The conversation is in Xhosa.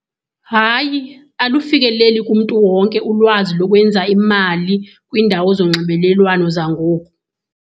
Hayi, alufikeleli kumntu wonke ulwazi lokwenza imali kwiindawo zonxibelelwano zangoku.